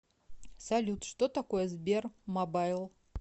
салют что такое сбермобайл